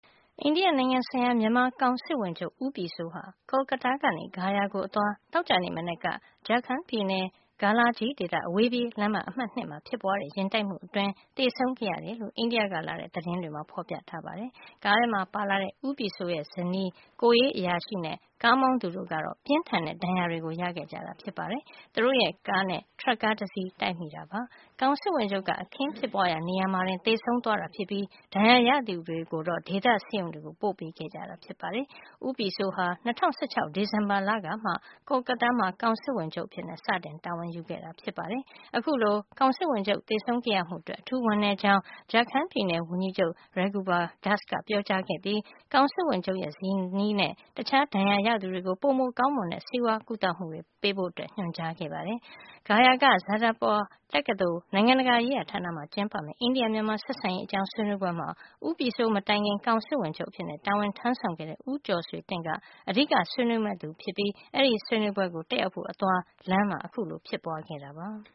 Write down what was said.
အိန္ဒိယနိုင်ငံ ဆိုင်ရာ မြန်မာကောင်စစ်ဝန်ချုပ် ဦးပြည်စိုးဟာ Kolkata ကနေ ဂါယာကို အသွား သောကြာနေ့က Jharkhand ပြည်နယ် Galagi ဒေသ အဝေးပြေး လမ်းမ အမှတ် (၂) မှာ ဖြစ်ပွါးတဲ့ ယာဉ်တိုက်မှုအတွင်း သေဆုံးခဲ့ရတယ်လို့ အိန္ဒိယက လာတဲ့ သတင်းတွေမှာ ဖေါ်ပြပါတယ်။ ကားထဲမှာပါလာတဲ့ ဦးပြည်စိုးရဲ့ ဇနီး ဒေါက်တာညိုညိုအောင် ၊ ကိုယ်ရေးအရာရှိ နဲ့ ကားမောင်းသူ Vipin Singh တို့ကတော့ ပြင်းထန်တဲ့ ဒဏ်ရာတွေ ရခဲ့ကြတာ ဖြစ်ပါတယ်။ သူတို့ရဲ့ ကားနဲ့ ထရပ်ကားတစီး တိုက်မိတာပါ။ ကောင်စစ်ဝန်ချုပ်က အခင်းဖြစ်ပွါးရာ နေရာမှာတင် သေဆုံးသွားတာ ဖြစ်ပြီး ဒဏ်ရာရသူတွေကိုတော့ ဒေသဆေးရုံကို ပို့ပေးခဲ့ကြတာပါ။ ဦးပြည်စိုးဟာ ၂၀၁၆ ဒီဇင်ဘာလကမှ Kolkata မှာ ကောင်စစ်ဝန်ချုပ် အဖြစ် စတင်တာဝန်ယူခဲ့တာ ဖြစ်ပါတယ်။ အခုလို ကောင်စစ်ဝန်ချုပ် သေဆုံးခဲ့ရမှုအတွက် အထူးဝမ်းနည်းကြောင်း Jharkhand ပြည်နယ်ဝန်ကြီးချုပ် Raghubar Das က ပြောကြားခဲ့ပြီး ကောင်စစ်ဝန်ချုပ်ရဲ့ ဇနီးနဲ့ တခြားဒဏ်ရာရသူတွေကို ပိုကောင်းမွန်တဲ့ ဆေးကုသမှု ပေးဖို ညွှန်ကြားခဲ့ပါတယ်။ ဂါယာက Jadavpur တက္ကသိုလ် နိုင်ငံတကာရေးရာ ဌာနမှာ ကျင်းပမယ့် အိန္ဒိယ- မြန်မာ ဆက်ဆံရေး အကြောင်း ဆွေးနွေးပွဲမှာ ဦးပြည်စိုး မတိုင်ခင် ကောင်စစ်ဝန်ချုပ်အဖြစ် တာဝန်ထမ်းဆောင်ခဲ့တဲ့ ဦးကျော်ဆွေတင့်က အဓိကဆွေးနွေးမယ့်သူဖြစ်ပြီး ဒီဆွေးနွေးပွဲကို တက်ရောက်ဖို့ အသွား လမ်းမှာ အခုလို ဖြစ်ပွါးခဲ့တာပါ။